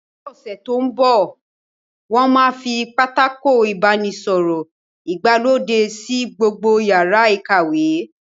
Ní ọ̀sẹ̀ tó mbọ̀, wón máa fi pátákó ìbánisọ̀rọ̀ ìgbàlódé sí gbogbo yàrá ìkàwé